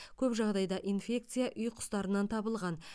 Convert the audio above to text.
көп жағдайда инфекция үй құстарынан табылған